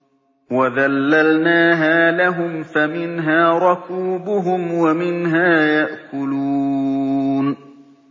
وَذَلَّلْنَاهَا لَهُمْ فَمِنْهَا رَكُوبُهُمْ وَمِنْهَا يَأْكُلُونَ